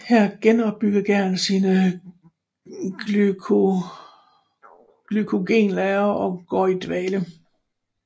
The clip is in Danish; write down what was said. Her genopbygger gæren sine glykogenlagre og går i dvale